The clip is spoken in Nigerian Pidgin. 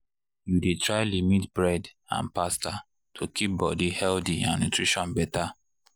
you dey try limit bread and pasta to keep body healthy and nutrition better.